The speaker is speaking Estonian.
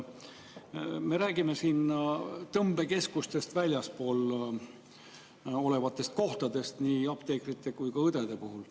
Me räägime väljaspool tõmbekeskusi olevatest kohtadest nii apteekrite kui ka õdede puhul.